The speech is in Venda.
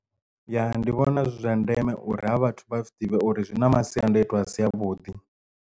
Ya ndi vhona zwi zwa ndeme uri ha vhathu vha zwiḓivhe uri zwi na masiandoitwa a si a vhuḓi.